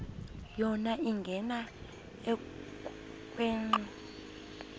yona ingena ekhwenxua